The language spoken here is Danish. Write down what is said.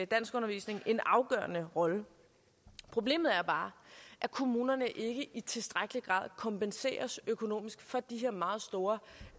danskundervisning en afgørende rolle problemet er bare at kommunerne ikke i tilstrækkelig grad kompenseres økonomisk for de her meget store